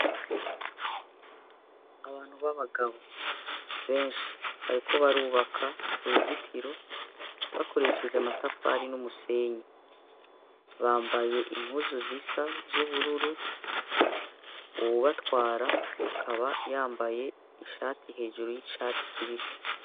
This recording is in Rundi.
Abantu b'abagabo benshi bariko barubaka uruzitiro bakoresheje amatafari n'umusenyi, bambaye impuzu zisa z'ubururu, uwubatwara akaba yambaye ishati hejuru y'icatsi kibisi.